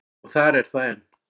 Og þar er það enn.